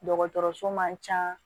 Dɔgɔtɔrɔso man ca